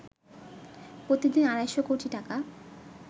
প্রতিদিন আড়াইশো কোটি টাকা